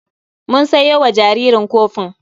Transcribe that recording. Mun sayo wa jaririn kofin.